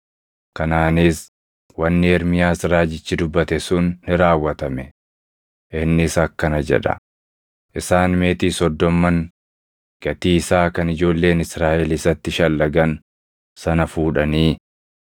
Kanaanis wanni Ermiyaas raajichi dubbate sun ni raawwatame: Innis akkana jedha; “Isaan meetii soddomman, gatii isaa kan ijoolleen Israaʼel isatti shallagan sana fuudhanii,